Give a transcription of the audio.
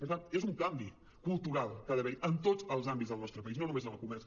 per tant és un canvi cultural que ha d’haver·hi en tots els àmbits del nostre país no només en el comerç